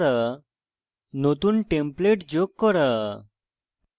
নতুন template যোগ করা